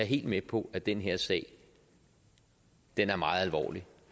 helt med på at den her sag er meget alvorlig